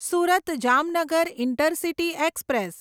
Surat Jamnagar intercity express